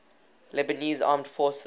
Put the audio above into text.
lebanese armed forces